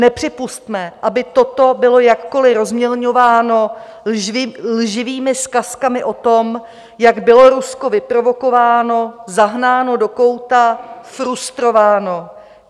Nepřipusťme, aby toto bylo jakkoli rozmělňováno lživými zkazkami o tom, jak bylo Rusko vyprovokováno, zahnáno do kouta, frustrováno.